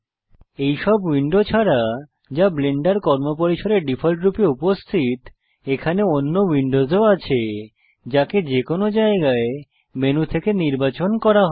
এইসব উইন্ডো ছাড়া যা ব্লেন্ডার কর্মপরিসরে ডিফল্টরূপে উপস্থিত এখানে অন্য উইন্ডোসও আছে যাকে যেকোনো জায়গায় মেনু থেকে নির্বাচন করা যায়